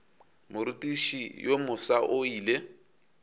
morutiši yo mofsa o ile